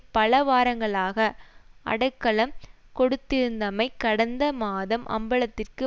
பல வாரங்களாக அடைக்கலம் கொடுத்திருந்தமை கடந்த மாதம் அம்பலத்திற்கு